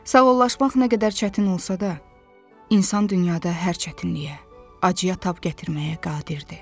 Sağollaşmaq nə qədər çətin olsa da, insan dünyada hər çətinliyə, acıya tab gətirməyə qadirdir.